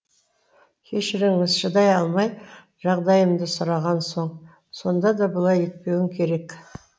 кешіріңіз шыдай алмай жағдайымды сұраған соң сонда да бұлай етпеуің керек